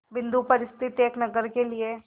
बिंदु पर स्थित इस नगर के लिए